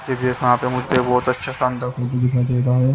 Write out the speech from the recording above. यहाँ पे मुझे बहोत अच्छा दिखाई दे रहा है।